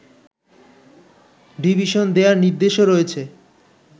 division দেয়ার নির্দেশও রয়েছে